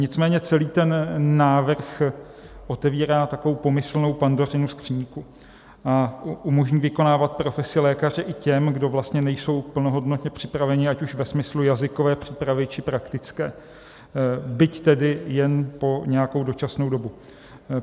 Nicméně celý ten návrh otevírá takovou pomyslnou Pandořinu skříňku a umožní vykonávat profesi lékaře i těm, kdo vlastně nejsou plnohodnotně připraveni ať už ve smyslu jazykové přípravy, či praktické, byť tedy jen po nějakou dočasnou dobu.